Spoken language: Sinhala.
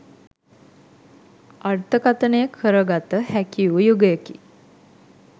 අර්ථකථනය කරගත හැකි වූ යුගයකි.